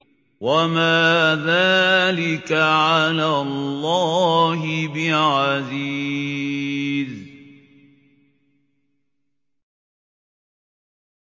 وَمَا ذَٰلِكَ عَلَى اللَّهِ بِعَزِيزٍ